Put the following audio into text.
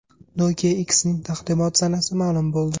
Nokia X’ning taqdimot sanasi ma’lum bo‘ldi.